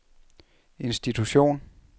institution